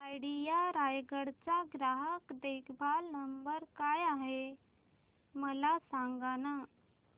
idea Raigad चा ग्राहक देखभाल नंबर काय आहे मला सांगाना